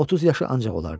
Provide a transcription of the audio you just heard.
30 yaşı ancaq olardı.